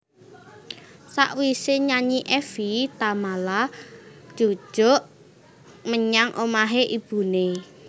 Sakwise nyanyi Evie Tamala njujuk menyang omahe ibune